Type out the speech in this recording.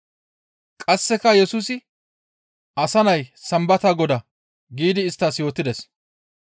Qasseka Yesusi, «Asa Nay Sambata Godaa» giidi isttas yootides.